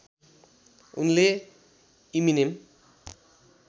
उनले इमिनेम